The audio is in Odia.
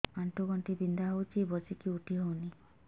ଆଣ୍ଠୁ ଗଣ୍ଠି ବିନ୍ଧା ହଉଚି ବସିକି ଉଠି ହଉନି